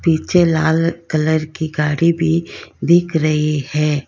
पीछे लाल कलर की गाड़ी भी दिख रही है।